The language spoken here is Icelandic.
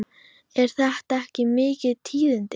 Eru þetta ekki mikil tíðindi?